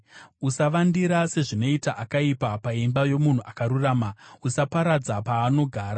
Usavandira sezvinoita akaipa paimba yomunhu akarurama, usaparadza paanogara;